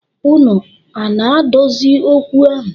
Unu ana adozi okwu ahụ?